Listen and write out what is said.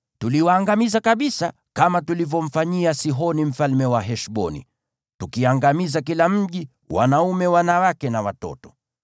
Tuliwaangamiza kabisa, kama tulivyomfanyia Sihoni mfalme wa Heshboni, tukiangamiza kila mji, yaani wanaume, wanawake na watoto.